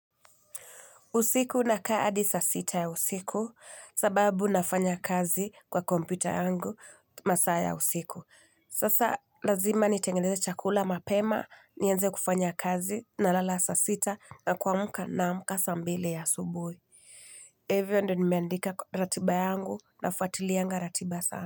Usiku nakaa adi saa sita ya usiku sababu nafanya kazi kwa kompyuta yangu masaa ya usiku. Sasa lazima nitengeneze chakula mapema, nianze kufanya kazi nalala saa sita na kuamuka naamka saa mbili ya asubuhi. Hivyo ndio nimeandika kwa ratiba yangu nafuatilianga ratiba sana.